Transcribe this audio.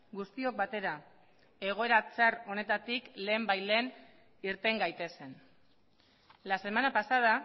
guztiok batera egoera txar honetatik lehenbailehen irten gaitezen la semana pasada